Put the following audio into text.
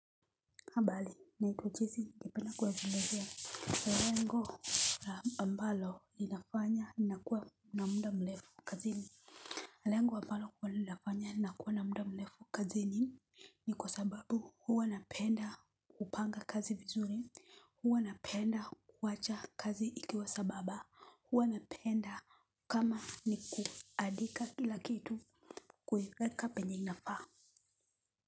Habali naitwa chesi ningependa kuwaelezea. Lango ambalo linafanya nakuwa na muda mlefu kazini. Lengo ambalo huwa linafanya nakuwa na muda mlefu kazini ni kwa sababu huwa napenda kupanga kazi vizuri, huwa napenda kuwacha kazi ikiwa sababa, huwa napenda kama ni kuadika. Kila kitu kuieka penye inafaa.